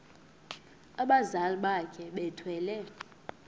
abazali bakhe bethwele